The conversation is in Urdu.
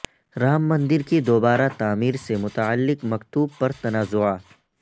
رام مندر کی دوبارہ تعمیر سے متعلق مکتوب پر تنازعہ